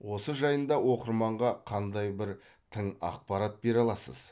осы жайында оқырманға қандай бір тың ақпарат бере аласыз